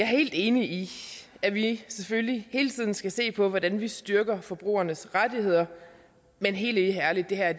helt enig i at vi selvfølgelig hele tiden skal se på hvordan vi styrker forbrugernes rettigheder men helt ærligt det her